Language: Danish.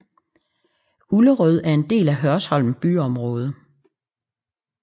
Ullerød er en del af Hørsholm byområde